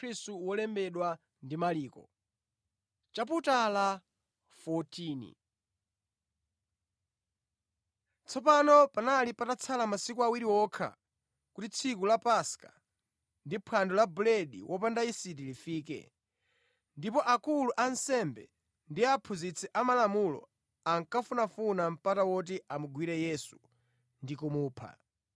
Tsopano panali patatsala masiku awiri okha kuti tsiku la Paska ndi Phwando la Buledi wopanda yisiti lifike, ndipo akulu a ansembe ndi aphunzitsi amalamulo ankafunafuna mpata woti amugwire Yesu ndi kumupha.